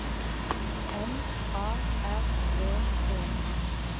N A R V E